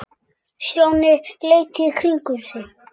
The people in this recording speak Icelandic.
Stjáni leit í kringum sig.